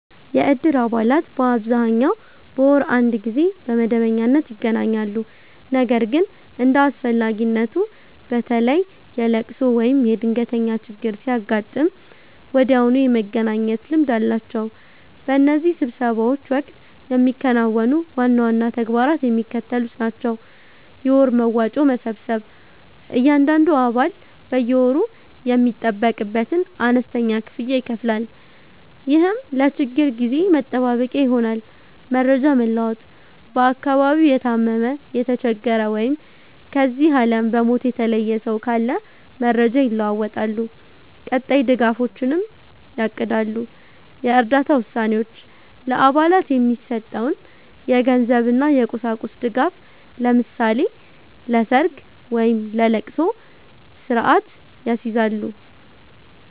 የእድር አባላት በአብዛኛው በወር አንድ ጊዜ በመደበኛነት ይገናኛሉ። ነገር ግን እንደ አስፈላጊነቱ፣ በተለይ የልቅሶ ወይም የድንገተኛ ችግር ሲያጋጥም ወዲያውኑ የመገናኘት ልምድ አላቸው። በእነዚህ ስብሰባዎች ወቅት የሚከናወኑ ዋና ዋና ተግባራት የሚከተሉት ናቸው፦ የወር መዋጮ መሰብሰብ፦ እያንዳንዱ አባል በየወሩ የሚጠበቅበትን አነስተኛ ክፍያ ይከፍላል፤ ይህም ለችግር ጊዜ መጠባበቂያ ይሆናል። መረጃ መለዋወጥ፦ በአካባቢው የታመመ፣ የተቸገረ ወይም ከዚህ ዓለም በሞት የተለየ ሰው ካለ መረጃ ይለዋወጣሉ፤ ቀጣይ ድጋፎችንም ያቅዳሉ። የእርዳታ ውሳኔዎች፦ ለአባላት የሚሰጠውን የገንዘብና የቁሳቁስ ድጋፍ (ለምሳሌ ለሰርግ ወይም ለልቅሶ) ስርአት ያስይዛሉ።